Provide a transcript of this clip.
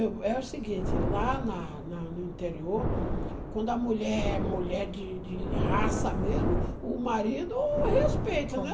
É o seguinte, lá na na no interior, quando a mulher é mulher de de raça mesmo, o marido respeita, né?